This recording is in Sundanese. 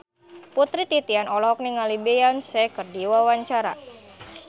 Putri Titian olohok ningali Beyonce keur diwawancara